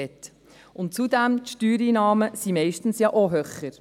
Zudem sind die Steuereinnahmen meistens ja auch höher.